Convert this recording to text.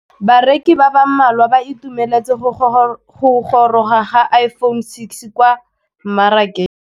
Bareki ba ba malwa ba ituemeletse go gôrôga ga Iphone6 kwa mmarakeng.